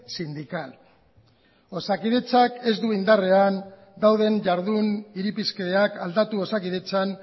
sindical osakidetzak ez du indarrean dauden jardun irizpideak aldatu osakidetzan